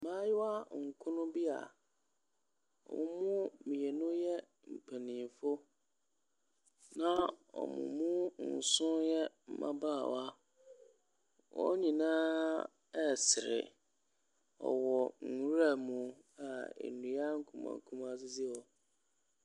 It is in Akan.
Mmaayewa nkron bi a wɔn mu mmienu yɛ mpanimfoɔ na wɔn mu nson yɛ mmabaawa. Wɔn nyinaaaankumaa nkumaa sosa resere. Wɔwɔ nwuram a nnua nkumaa nkumaa sisi hɔ.